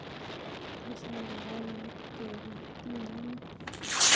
Kisemberen eut kebit tindinyek.